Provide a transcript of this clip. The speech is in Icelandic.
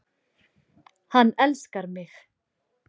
Hann elskar mig